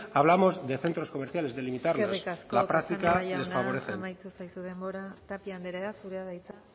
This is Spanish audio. hablamos de centros comerciales de limitarlos en la práctica les favorecen eskerrik asko casanova jauna amaitu zaizu denbora tapia anderea zurea da hitza